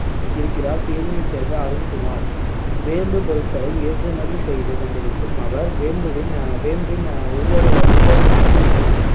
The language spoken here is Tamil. இருக்கிறார் தேனியைச் சேர்ந்த அருண்குமார் வேம்பு பொருட்களை ஏற்றுமதி செய்துகொண்டிருக்கும் அவர் வேம்புவின் அஹ் வேம்பின் அஹ் ஒவ்வொரு ஒவ்வொரு பகுதியும்